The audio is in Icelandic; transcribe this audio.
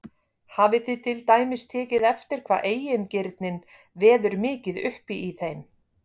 Hafið þið til dæmis tekið eftir hvað eigingirnin veður mikið uppi í þeim?